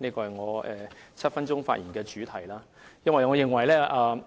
這是我7分鐘發言的主題，因為我認為